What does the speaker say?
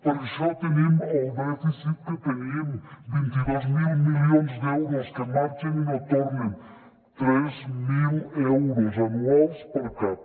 per això tenim el dèficit que tenim vint dos mil milions d’euros que marxen i no tornen tres mil euros anuals per cap